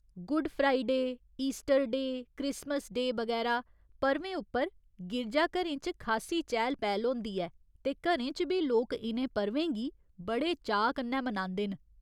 Good Friday, Easter Day, Christmas Day, बगैरा पर्वें उप्पर गिरजाघरें च खासी चैह्‌ल पैह्‌ल होंदी ऐ ते घरें च बी लोक इ'नें पर्वें गी बड़े चाऽ कन्नै मनांदे न।